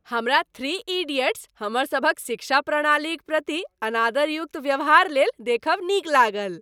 हमरा "three idiots" हमरसभक शिक्षा प्रणालीक प्रति अनादरयुक्त व्यवहार लेल देखब नीक लागल।